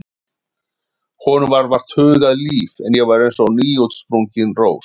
Honum var vart hugað líf en ég var eins og nýútsprungin rós.